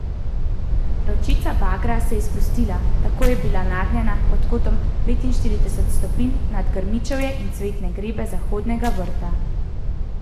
Ročica bagra se je spustila, tako da je bila nagnjena pod kotom petinštirideset stopinj, nad grmičje in cvetne grede zahodnega vrta.